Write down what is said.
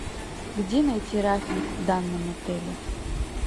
где найти рафинг в данном отеле